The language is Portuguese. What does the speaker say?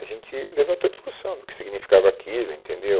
A gente levantou a discussão do que significava aquilo. Entendeu